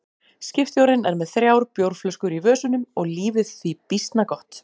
Skipstjórinn er með þrjár bjórflöskur í vösunum og lífið því býsna gott.